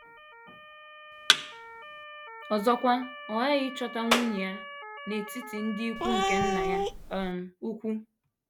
Ọzọkwa, ọ ghaghị ịchọta nwunye a n’etiti ndị ikwu nke nna ya um ukwu.